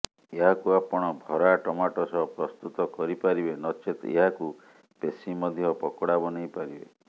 ଏହାକୁ ଆପଣ ଭରା ଟମାଟୋ ସହ ପ୍ରସ୍ତୁତ କରିପାରିବେ ନଚେତ ଏହାକୁ ପେଷି ମଧ୍ୟ ପକୋଡା ବନେଇ ପାରିବେ